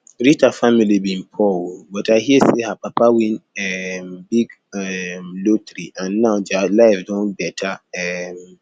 rita family bin poor oo but i hear say her papa win um big um lottery and now dia life don better um